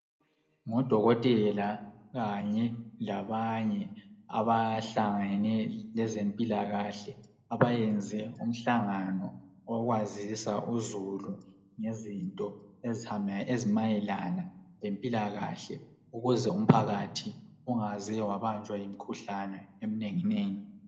Ngudokotela kanye labanye abahlangene lezempilakahle abayenze umhlangano wokwazisa uzulu ngezinto ezimayelana lempilakahle ukuze umphakathi ungaze wabanjwa yimkhuhlane emnenginengi.